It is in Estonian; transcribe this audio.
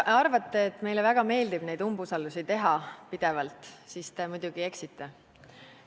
Kui te arvate, et meile väga meeldib neid umbusaldusavaldusi pidevalt esitada, siis te muidugi eksite.